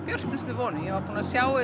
björtustu vonum ég var búin að sjá